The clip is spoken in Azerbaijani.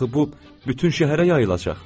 axı bu bütün şəhərə yayılacaq.